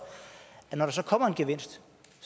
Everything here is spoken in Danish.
er de